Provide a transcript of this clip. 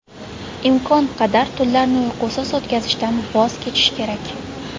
Imkon qadar tunlarni uyqusiz o‘tkazishdan voz kechish kerak.